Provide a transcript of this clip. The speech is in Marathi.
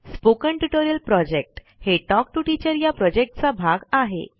स्पोकन ट्युटोरियल प्रॉजेक्ट हे टॉक टू टीचर या प्रॉजेक्टचा भाग आहे